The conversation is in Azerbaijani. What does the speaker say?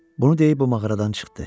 Bunu deyib o mağaradan çıxdı.